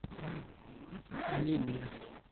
лель